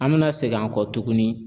An bɛna seg'an kɔ tuguni